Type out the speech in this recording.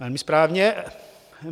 Velmi správně.